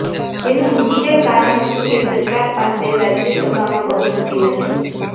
જેનું મુખ્ય કારણ હતું કે સરકાર પાસે રાજ્યસભામાં બહુમતિ નથી